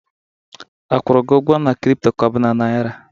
A kwụrụ gi ụgwọ na crypto ka ọ bụ na naira?